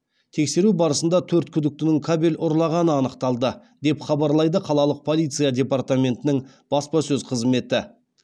тексеру барысында төрт күдіктінің кабель ұрлағаны анықталды деп хабарлайды қалалық полиция департаментінің баспасөз қызметі